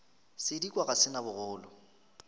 sedikwa ga se na bogolo